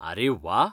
आरे, व्वा!